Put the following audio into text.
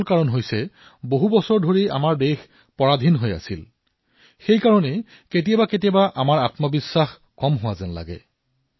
সেইবাবে আমি আমাৰ দেশৰ ভাল কথাসমূহ আমাৰ পাৰম্পৰিক সিদ্ধান্তসমূহক প্ৰমাণভিত্তিক গৱেষণাৰ আধাৰত আগবঢ়াই লৈ যোৱাৰ পৰিৱৰ্তে সেয়া পিছলৈ পেলাই থৈ যাও হীন বুলি ভাবো